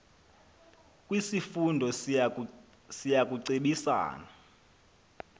kwisifundo siya kucebisana